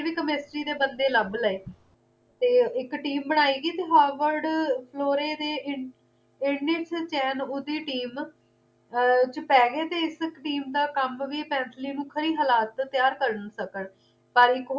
chemistry ਦੇ ਬੰਦੇ ਲੱਭ ਲਏ ਤੇ ਇੱਕ team ਬਣਾਈ ਗਈ ਤੇ ਹਾਵਰਡ ਫਲੋਰੇ ਦੇ ਇੰਡਿਸ ਚੇਨ ਓਹਦੀ team ਚ ਪੈ ਗਏ ਇਸ team ਦਾ ਕੰਮ ਵੀ ਪੈਂਸੀਲੀਨ ਨੂੰ ਖਰੀ ਹਲਾਤ ਵਿੱਚ ਤਿਆਰ ਕਰ ਸਕਣ ਪਰ ਇੱਕ ਹੋਰ ਵੀ